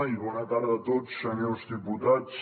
i bona tarda a tots senyors diputats